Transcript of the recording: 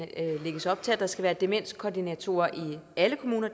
lægges der op til at der skal være demenskoordinatorer i alle kommuner